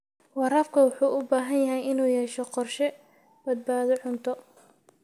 Waraabka wuxuu u baahan yahay inuu yeesho qorshe badbaado cunto.